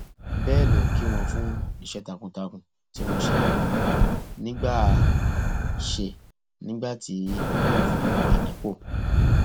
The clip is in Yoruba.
bẹẹ ló kí wọn fún iṣẹ takuntakun tí wọn ṣe nígbà ṣe nígbà tí wọn fi wà nípò